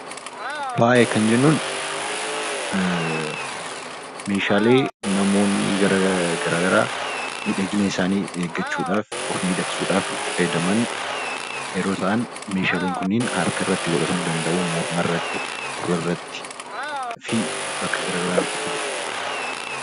Faaya kan jennuun meeshaalee namoonni gara garaa miidhagina isaanii eeggachuu dhaaf, of miidhagsuu dhaaf itti fayyadaman yeroo ta'an, meesgaaleen kunniin harka irratti godhatamuu danda'uu, morma irratti, gurra irratti fi bakka gara garaa irratti godhatamuu danda'uu.